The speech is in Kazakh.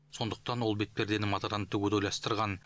сондықтан ол бетпердені матадан тігуді ойластырған